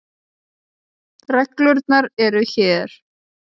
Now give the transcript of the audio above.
Reglurnar eru hér.